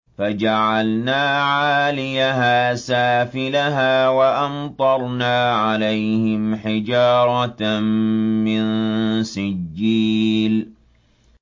فَجَعَلْنَا عَالِيَهَا سَافِلَهَا وَأَمْطَرْنَا عَلَيْهِمْ حِجَارَةً مِّن سِجِّيلٍ